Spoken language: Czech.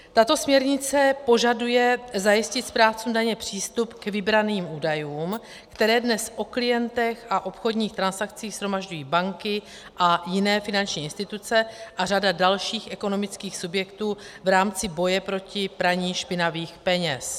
Tato směrnice požaduje zajistit správcům daně přístup k vybraným údajům, které dnes o klientech a obchodních transakcích shromažďují banky a jiné finanční instituce a řada dalších ekonomických subjektů v rámci boje proti praní špinavých peněz.